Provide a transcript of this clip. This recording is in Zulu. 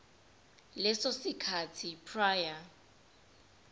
leso sikhathi prior